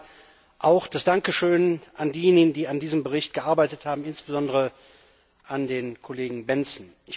Zuerst einmal ein Dankeschön an diejenigen, die an diesem Bericht gearbeitet haben, insbesondere an den Kollegen Bendtsen.